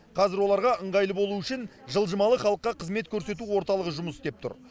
қазір оларға ыңғайлы болу үшін жылжымалы халыққа қызмет көрсету орталығы жұмыс істеп тұр